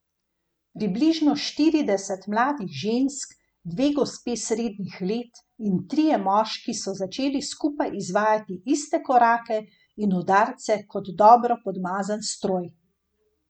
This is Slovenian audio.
Približno štirideset mladih žensk, dve gospe srednjih let in trije moški so začeli skupaj izvajati iste korake in udarce kot dobro podmazan stroj.